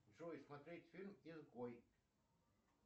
джой смотреть фильм изгой